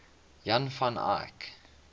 jan van eyck